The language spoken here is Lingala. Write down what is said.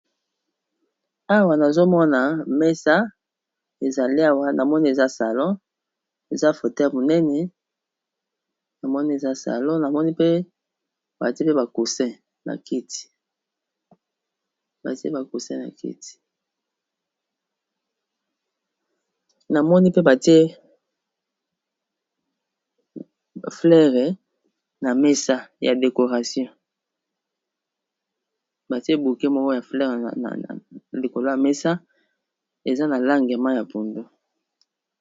awa nazomona mesa ezali awa na moni eza salo eza fouteure monene iacsna kiti ya decorationbatie buke moko ya fleure na likolo ya mesa eza na langema ya pundo